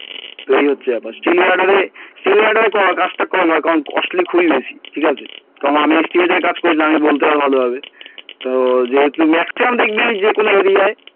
তো এই হচ্ছে ব্যাপার steel guarder steel guarder এর কাজটা কম হয় কারণ costly খুবই বেশি ঠিক আছে কারণ আমি steel guarder এর কাজ করেছিলাম আমি বলতে পারবো ভালো ভাবে তো যেহেতু maximum দেখবি যে কোনো area য়